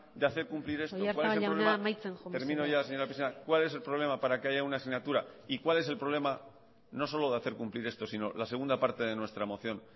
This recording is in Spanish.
de hacer cumplir esto oyarzabal jauna amaitzen joan mesedez termino ya señora presidenta cuál es el problema para que haya una asignatura y cuál es el problema no solo de hacer cumplir esto sino la segunda parte de nuestra moción